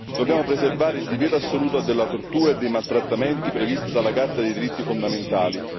Dobbiamo preservare il divieto assoluto della tortura e dei maltrattamenti previsto dalla Carta dei diritti fondamentali.